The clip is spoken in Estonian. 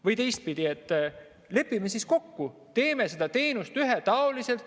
Või teistpidi, lepime siis kokku, et teeme selle teenuse ühetaoliseks.